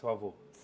Teu avô?